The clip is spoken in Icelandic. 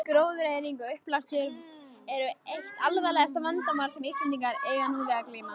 Gróðureyðing og uppblástur eru eitt alvarlegasta vandamál sem Íslendingar eiga nú við að glíma.